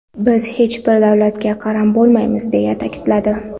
Biz hech bir davlatga qaram bo‘lmaymiz”, deya ta’kidladi.